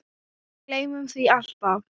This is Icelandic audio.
Við gleymum því alltaf